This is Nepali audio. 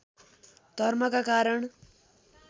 धर्मका कारण